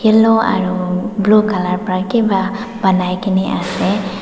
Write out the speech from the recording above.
yellow aru blue colour para kiba banai kene ase.